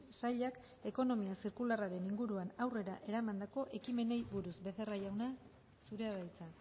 sailak ekonomia zirkularraren inguruan aurrera eramandako ekimenei buruz becerra jauna zurea da hitza